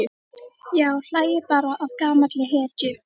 Já, hlæið bara að gamalli hetju.